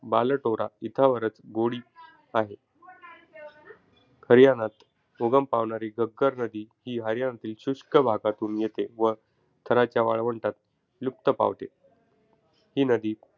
बालटोरा इथावरच गोडी आहे. हरियाणात उगम पावणारी घग्गर नदी ही हरियाणातील शुष्क भागातून येते. व थराच्या वाळवंटात लुप्त पावते. ही नदी,